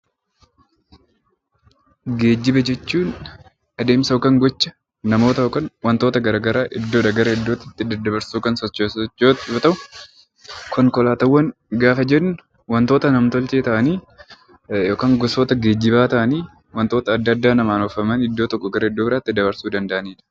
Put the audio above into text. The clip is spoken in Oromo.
Geejjiba jechuun adeemsa yookaan gocha namoota yookaan wantoota garagaraa iddoodhaa gara iddootti itti daddabarsuu danda'u yookaan sochoosu yoo ta'u konkolaatawwan gaafa jennu wantoota nam tolchee ta'anii yookaan gosoota geejjibaa ta'anii wantoota adda addaa namaan oofamanii iddoo tokkoo iddoo biraatti dabrsuu danda'anidha.